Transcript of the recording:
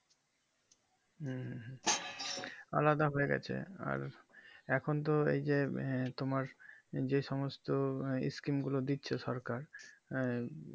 হুম হুম আলাদা হয়ে গেছে আর এখন তো এই যে তোমার যে সমস্ত screen গুলো দিচ্ছে তোমার আঃ